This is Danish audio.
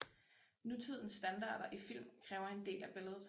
Nutidens standarder i film kræver en del af billedet